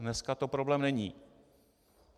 Dneska to problém není.